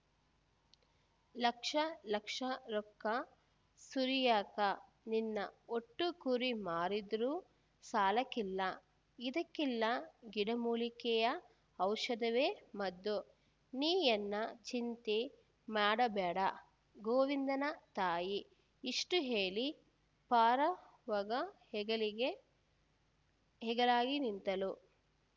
ಲಕ್ಷ ಲಕ್ಷ ರೊಕ್ಕ ಸುರಿಯಾಕ ನಿನ್ನ ಒಟ್ಟು ಕುರಿ ಮಾರಿದ್ರು ಸಾಲಾಕಿಲ್ಲ ಇದಕಿಲ್ಲಾ ಗಿಡಮೂಲಿಕೆಯ ಔಷಧವೇ ಮದ್ದು ನೀಯನ್ನ ಚಿಂತಿ ಮಾಡ್ಬ್ಯಾಡ ಗೋವಿಂದನ ತಾಯಿ ಇಷ್ಟುಹೇಳಿ ಪಾರವ್ಗ ಹೆಗಲಿಗೆ ಹೆಗಲಾಗಿ ನಿಂತಳು